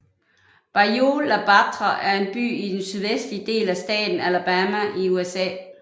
Bayou La Batre er en by i den sydvestlige del af staten Alabama i USA